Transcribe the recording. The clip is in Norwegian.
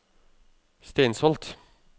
Steinsholt